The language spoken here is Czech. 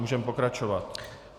Můžeme pokračovat.